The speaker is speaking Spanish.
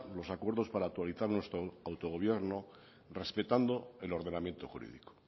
los acuerdos para actualizar nuestro autogobierno respetando el ordenamiento jurídico